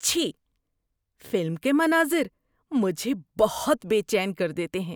چھی! فلم کے مناظر مجھے بہت بے چین کر دیتے ہیں۔